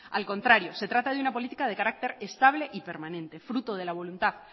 al contrario se trata de una política de carácter estable y permanente fruto de la voluntad